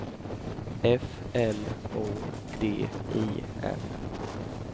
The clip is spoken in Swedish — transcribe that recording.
F L O D I N